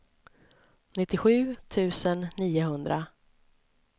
nittiosju tusen niohundra